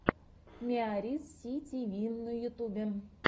миарисситиви на ютубе